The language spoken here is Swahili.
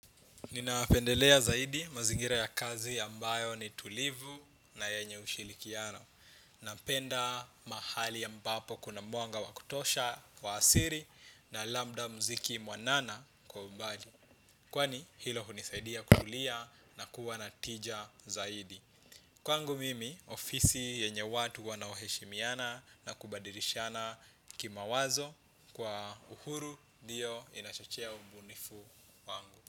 Ninapendelea zaidi mazingira ya kazi ambayo ni tulivu na yenye ushirikiano. Napenda mahali ambapo kuna mwanga wa kutosha wa asili na labda mziki mwanana kwa mbali. Kwani hilo hunisaidia kutulia na kuwa na tija zaidi. Kwangu mimi ofisi yenye watu wanao heshimiana na kubadilishana kimawazo kwa uhuru ndio inachochea ubunifu wangu.